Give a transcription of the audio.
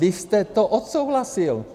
Vy jste to odsouhlasil.